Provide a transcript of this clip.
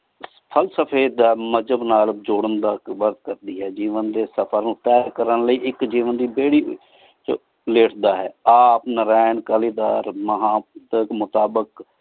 ਫਾਲ੍ਸ੍ਫ੍ਯ ਦਾ ਮਜ਼ਹਬ ਨਾਲ ਜੋਰਾਂ ਦਾ ਕਰਦੀ ਹੈ ਜੇਵਾਂ ਡੀ ਸਫ਼ਰ ਨੂ ਤੇਹ ਕਰਨ ਲੈ ਇਕ ਜੇਵਾਂ ਦੀ ਬੇਰਹਿ ਵਿਚ ਲੇਟਦਾ ਹੈ ਆਪ ਨਾ ਰਹਨ ਕਾਲੀ ਦਰ ਮਹਾ ਨਾਰਾਇਣ ਕਾਲੀ ਦਰ ਮਹਾ ਪੁਤਰ ਮੁਤਾਬਿਕ